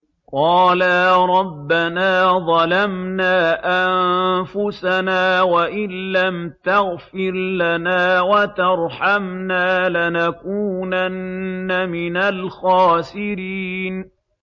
قَالَا رَبَّنَا ظَلَمْنَا أَنفُسَنَا وَإِن لَّمْ تَغْفِرْ لَنَا وَتَرْحَمْنَا لَنَكُونَنَّ مِنَ الْخَاسِرِينَ